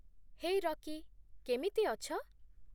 ହେ, Rocky. କେମିତି ଅଛ?